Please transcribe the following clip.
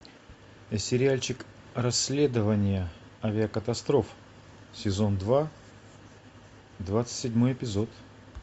сериальчик расследование авиакатастроф сезон два двадцать седьмой эпизод